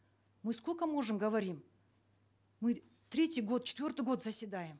мы сколько можем говорим мы третий год четвертый год заседаем